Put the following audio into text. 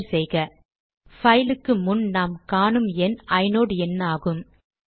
enter செய்க பைலுக்கு முன் நாம் காணும் எண் ஐநோட் எண்ணாகும்